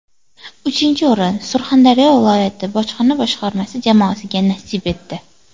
Uchinchi o‘rin Surxondaryo viloyati bojxona boshqarmasi jamoasiga nasib etdi.